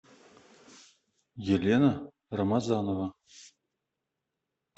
елена рамазанова